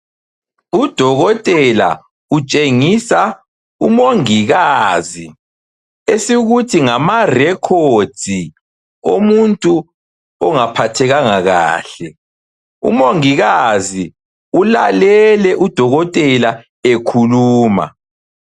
Udokotela utshengisa umongikazi esikuthi ngama - records omuntu ongaphathekanga kahle. Umongikazi ulalele udokotela ekhuluma.